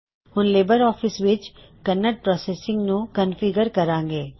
ਹੁਣ LibreOffice ਵਿੱਚ Kannada processing ਨੂੰ ਕਨਫਿਗ੍ਰਰ ਕਰਾਂਗੇ